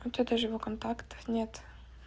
хотя даже его контактов нет